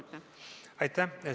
Aitäh!